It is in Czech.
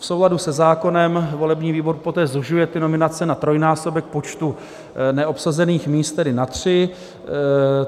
V souladu se zákonem volební výbor poté zužuje ty nominace na trojnásobek počtu neobsazených míst, tedy na tři.